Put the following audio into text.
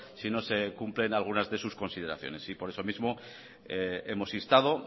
si no se cumplen algunas de sus consideraciones y por eso mismo hemos instado